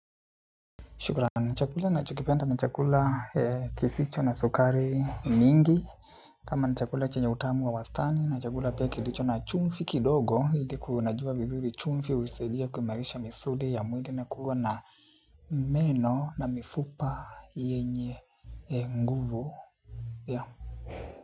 Shukuran. Chakula nachokipenda ni chakula kisicho na sukari mingi. Kama ni chakula chenye utamu wa wastani na chakula pia kilicho na chumvi kidogo. Hili kunajua vizuri chumvi usaidia kuimarisha misuli ya mwili na kuwa na meno na mifupa yenye nguvu.